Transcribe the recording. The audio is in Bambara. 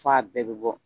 F'a bɛɛ bɛ bɔ